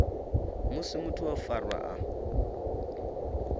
musi muthu o farwa a